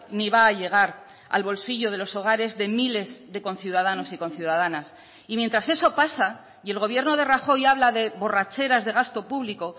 ni va a llegar al bolsillo de los hogares de miles de conciudadanos y conciudadanas y mientras eso pasa y el gobierno de rajoy habla de borracheras de gasto público